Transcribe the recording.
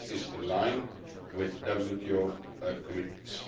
This is in line with WTO commitments.